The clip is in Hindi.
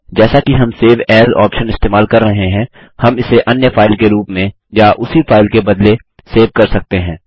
जैसा कि हम सेव एएस ऑप्शन इस्तेमाल कर रहे हैं हम इसे अन्य फाइल के रूप में या उसी फाइल के बदले सेव कर सकते हैं